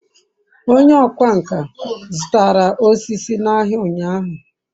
onye okwá nkà zutara osisi n'ahia unyahu